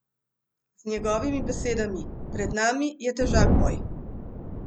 Z njegovimi besedami: "Pred nami je težak boj.